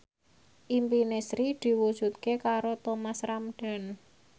impine Sri diwujudke karo Thomas Ramdhan